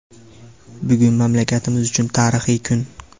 Bugun mamlakatimiz uchun tarixiy kun.